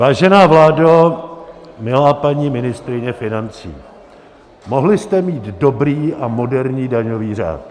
Vážená vládo, milá paní ministryně financí, mohli jste mít dobrý a moderní daňový řád.